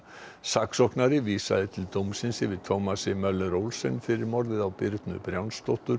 saksóknari vísaði til dómsins yfir Thomasi Möller Olsen fyrir morðið á Birnu